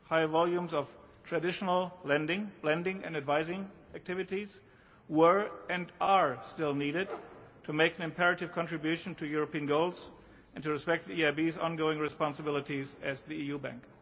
Higher volumes of traditional lending and advising activities were and are still needed to make an imperative contribution to European goals and to respect the EIB's ongoing responsibilities as the EU bank.